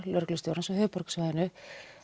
lögreglustjórans á höfuðborgarsvæðinu